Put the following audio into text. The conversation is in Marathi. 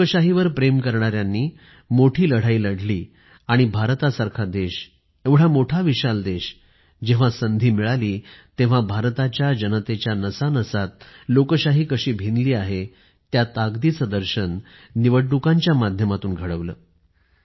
लोकशाहीवर प्रेम करणाऱ्यांनी मोठी लढाई लढली आणि भारतासारखा देश एवढा मोठा विशाल देश जेव्हा संधी मिळाली तेव्हा भारताच्या जनतेच्या नसानसात लोकशाही कशी भिनली आहे त्या ताकदीचे दर्शन निवडणुकांच्या माध्यमातून घडवलं